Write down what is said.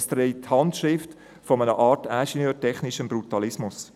Es trägt die Handschrift einer Art von ingenieurtechnischem Brutalismus.